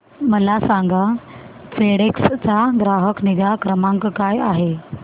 मला सांगा फेडेक्स चा ग्राहक निगा क्रमांक काय आहे